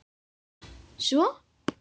Svo?